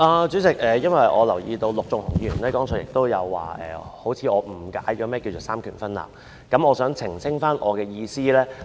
主席，我留意到陸頌雄議員剛才指我似乎誤解了何謂"三權分立"，所以我想澄清我的意思。